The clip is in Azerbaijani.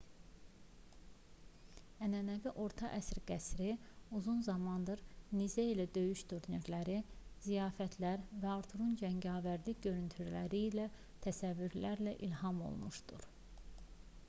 ənənəvi orta əsr qəsri uzun zamandır nizə ilə döyüş turnirləri ziyafətlər və arturun cəngavərlik görüntüləri ilə təsəvvürlərə ilham olmuşdur